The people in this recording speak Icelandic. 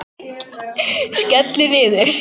Skellur niður.